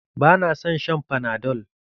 Ba na son shan fanadol.